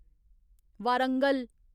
Warangal